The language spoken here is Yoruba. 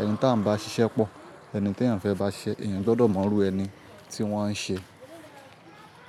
Ẹni tí à ń bá ṣiṣẹ́ pọ̀, ẹni tí èèyàn fẹ́ bá ṣiṣẹ́, èèyàn gbọdọ̀ mọrú ẹni tí wọ́n ń ṣe.